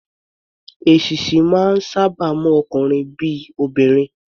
Èṣíṣí máa ń sáábà mú ọkunrin bí i obìnrin.